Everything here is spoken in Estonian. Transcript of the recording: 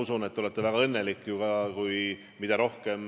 Teatavasti on NATO-s väga vähe neid riike, kes panustavad kaitse-eelarvesse 2% või rohkem.